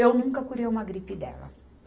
Eu nunca curei uma gripe dela.